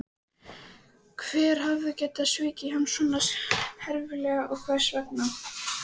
Hver hafði getað svikið hann svona herfilega og hvers vegna?